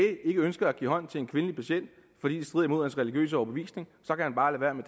ikke ønsker at give hånd til en kvindelig patient fordi det strider mod vedkommendes religiøse overbevisning